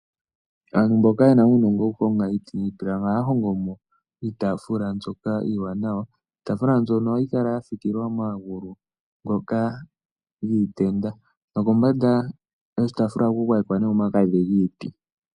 Aantu mboka yena uunongo woku honga iiti niipilangi ohaya hongomo iitafula mbyoka iiwanawa. Iitafula mbyoka ohayi kala yafikilwa omagulu ngoka giitenda nokombanda ohaku gwayekwa omagadhi giiti.